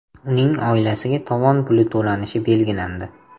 Uning oilasiga tovon puli to‘lanishi belgilandi.